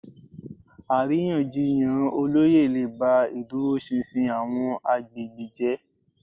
Àríyànjiyàn olóyè lè ba ìdúróṣinṣin àwọn agbègbè jẹ́